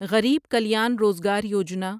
Garib Kalyan Rozgar Yojana